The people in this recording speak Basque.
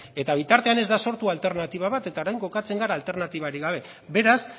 eta bitartean ez da sortu alternatiba bat eta orain kokatzen gara alternatibarik gabe beraz